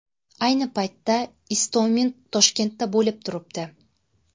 Ayni paytda Istomin Toshkentda bo‘lib turibdi.